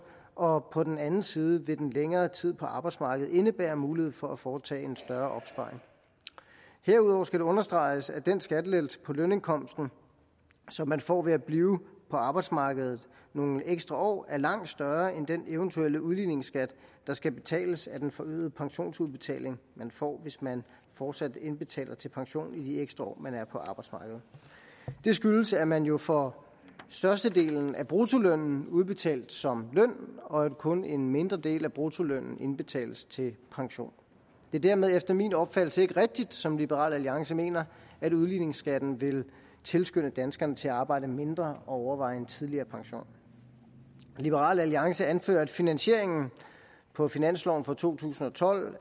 og på den anden side vil den længere tid på arbejdsmarkedet indebære mulighed for at foretage en større opsparing herudover skal understreges at den skattelettelse på lønindkomsten som man får ved at blive på arbejdsmarkedet nogle ekstra år er langt større end den eventuelle udligningsskat der skal betales af den forøgede pensionsudbetaling man får hvis man fortsat indbetaler til pension i de ekstra år man er på arbejdsmarkedet det skyldes at man jo får størstedelen af bruttolønnen udbetalt som løn og at kun en mindre del af bruttolønnen indbetales til pension det er dermed efter min opfattelse ikke rigtigt som liberal alliance mener at udligningsskatten vil tilskynde danskerne til at arbejde mindre og overveje en tidligere pension liberal alliance anfører at finansieringen på finansloven for to tusind og tolv